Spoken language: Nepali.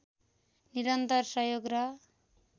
निरन्तर सहयोग र